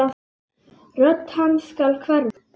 Rödd hans skal hverfa.